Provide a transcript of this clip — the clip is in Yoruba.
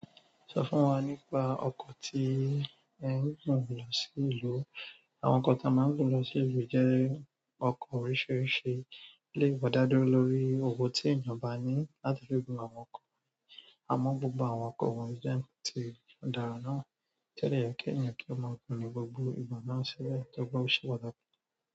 Sọ fún wa nípa ọkọ̀ tí ẹ ń gùn lọ sí ìlú. Àwọn ọkọ̀ tí a máa ń gùn lọ sí ìlú jẹ́ ọkọ̀ oríṣìíríṣìí, lè wọ dá dúró lórí owo tí èèyàn bá ní láti gùn àwọn ọkọ̀. Àmọ́ gbogbo àwọn ọkọ̀ wọ́n jẹ́ ti ó dára náà. Tó dẹ̀ yẹ kí èèyàn kí ó máa gùn ní gbogbo ìgbà máa ń ṣẹlẹ̀ tó bá ń ṣe pàtàkì.